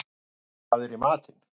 Gunngeir, hvað er í matinn?